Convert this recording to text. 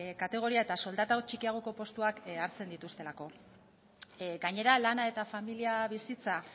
kategoria eta soldata txikiagoko postuak hartzen dituztelako gainera lana eta familia bizitza